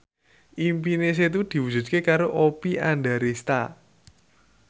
impine Setu diwujudke karo Oppie Andaresta